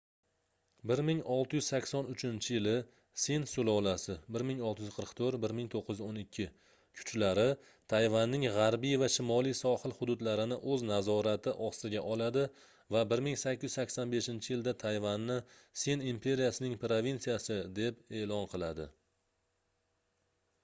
1683-yili sin sulolasi 1644–1912 kuchlari tayvanning g'arbiy va shimoliy sohil hududlarini o'z nazorati ostiga oladi va 1885-yilda tayvanni sin imperiyasining provinsiyasi deb e'lon qiladi